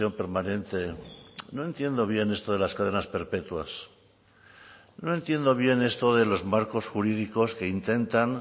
permanente no entiendo bien esto de las cadenas perpetuas no entiendo bien esto de los marcos jurídicos que intentan